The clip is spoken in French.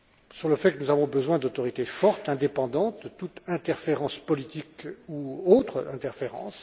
sur le fait que nous avons besoin d'autorités fortes, indépendantes de toute interférence politique ou autre interférence.